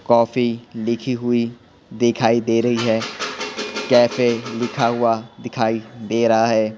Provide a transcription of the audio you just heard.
Coffee लिखी हुई दिखाई दे रही है कैफे लिखा हुआ दिखाई दे रहा है।